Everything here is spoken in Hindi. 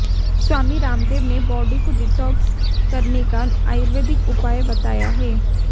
स्वामी रामदेव ने बॉडी को डिटॉक्स करने का आयुर्वेदिक उपाय बताया है